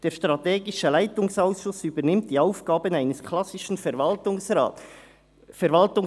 Der strategische Leitungsausschuss übernimmt die Aufgaben eines ‹klassischen› Verwaltungsrats.»